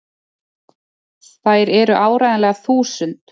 Þær eru áreiðanlega þúsund!!